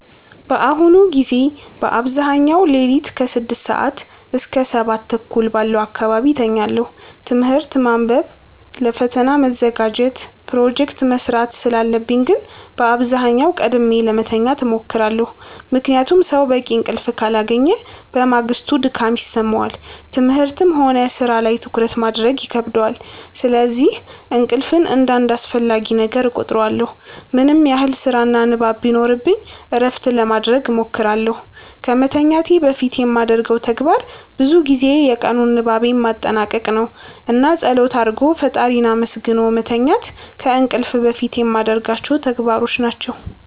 በአሁኑ ጊዜ በአብዛኛው ሌሊት ከ6 ሰዓት እስከ 7:30 ባለው አካባቢ እተኛለሁ። ትምህርት ማንበብ ለፈተና መዘጋጀት ፕሮጀክት መስራት ስላለብኝ ግን በአብዛኛው ቀድሜ ለመተኛት እሞክራለሁ። ምክንያቱም ሰው በቂ እንቅልፍ ካላገኘ በማግስቱ ድካም ይሰማዋል፣ ትምህርትም ሆነ ሥራ ላይ ትኩረት ማድረግ ይከብደዋል። ስለዚህ እንቅልፍን እንደ አንድ አስፈላጊ ነገር እቆጥረዋለሁ። ምንም ያህል ስራና ንባብ ቢኖርብኝ እረፍት ለማረግ እሞክራለሁ። ከመተኛቴ በፊት የማደርገው ተግባር ብዙ ጊዜ የቀኑን ንባቤን ማጠናቀቅ ነው። እና ፀሎት አርጎ ፈጣሪን አመስግኖ መተኛት ከእንቅልፍ በፊት የማረጋቸው ተግባሮች ናቸው።